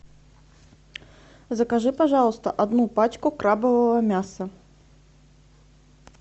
закажи пожалуйста одну пачку крабового мяса